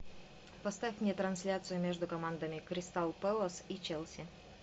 поставь мне трансляцию между командами кристал пэлас и челси